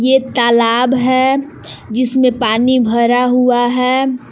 ये तालाब है जिसमें पानी भरा हुआ है।